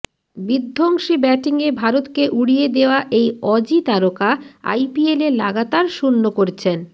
বিধ্বংসী ব্যাটিংয়ে ভারতকে উড়িয়ে দেওয়া এই অজি তারকা আইপিএলে লাগাতার শূন্য করছেন